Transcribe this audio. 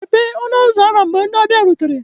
Mepee ọnụ ụzọ ámá mgbe ndị ọbịa rutere